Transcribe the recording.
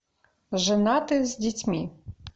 женаты с детьми